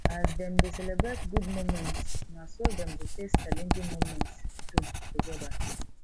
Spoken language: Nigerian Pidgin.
as them de celebrate good moments na so dem go face challenging moments too together